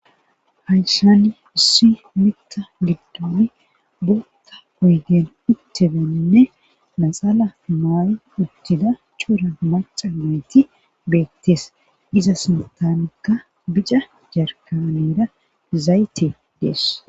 hayshani issi mitta giddoni bootha oygen uttedaninne naxala maayi uttida chuura maca beeti beettes iza sintanakka bica jarkaneda zayte dees